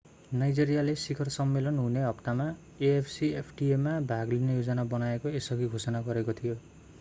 नाइजेरियाले शिखर सम्मेलन हुने हप्तामा afcfta मा भाग लिने योजना बनाएको यसअघि घोषणा गरेको थियो